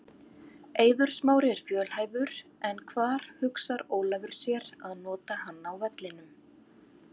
Eiður Smári er fjölhæfur en hvar hugsar Ólafur sér að nota hann á vellinum?